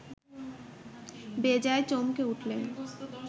বেজায় চমকে উঠলেন